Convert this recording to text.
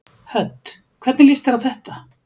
Hödd: Hvernig líst þér á þetta?